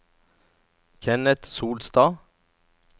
Kenneth Solstad